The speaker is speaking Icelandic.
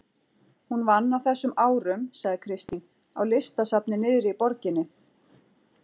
Hún vann á þessum árum sagði Kristín, á listasafni niðri í borginni.